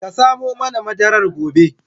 Ka samo mana madarar gobe